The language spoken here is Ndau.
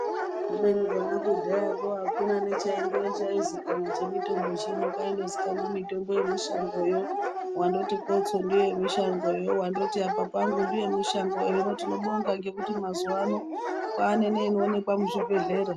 Kubeni kona kudhayako hakuna nechaizikanwa chemitombo chino, kwaindozikanwa mitombo yemushangoyo, wandoti kotso ndewemushangoyo, wandoti apa pangu ndewemushango. Hino, tinobonga ngekuti mazuwano kwaane neinoonekwa muzvibhedhlera.